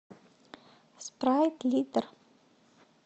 спрайт литр